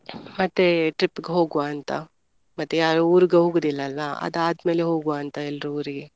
ಮತ್ತೆ ಮತ್ತೆ trip ಗ ಹೋಗುವ ಅಂತ ಮತ್ತೆ ಯಾರು ಹೋಗುದಿಲ್ಲ ಅಲ್ಲ ಅದು ಆದ್ಮೇಲೆ ಹೋಗುವ ಅಂತ ಎಲ್ರು ಊರಿಗೆ.